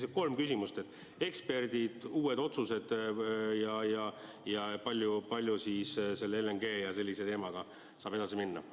Sellised kolm küsimust: eksperdid, uued otsused ja kas selle LNG terminali teemaga saab edasi minna.